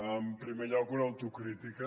en primer lloc una autocrítica